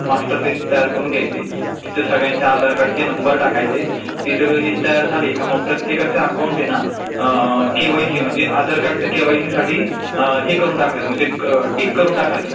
Master list तयार करून घ्यायची, तिथं सगळ्यांचे आधारकार्डाचे नंबर टाकायचे ती सगळी लिस्च तयार झाली का मग प्रत्येकाचं अकाऊंट आहे ना आ...आ. केवायसी म्हणजे केवायसीसाठी म्हणजे हे करून टाकायचं अं टीक करून टाकायचं,